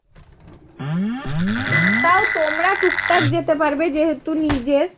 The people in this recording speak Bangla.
তাও তোমরা টুকটাক যেতে পারবে যেহেতু নিজের।